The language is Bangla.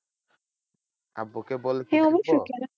আব্বু কে বলতে হবে তো?